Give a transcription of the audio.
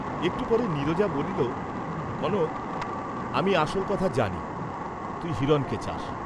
একটু পরে নীরজা বলিল, কনক, আমি আসল কথা জানি, তুই হিরণকে চাস্।